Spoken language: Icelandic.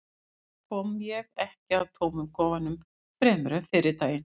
þar kom ég ekki að tómum kofanum fremur en fyrri daginn